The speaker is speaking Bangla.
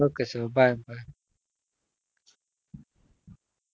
ok চ bye bye.